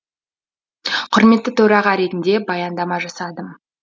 құрметті төраға ретінде баяндама жасадым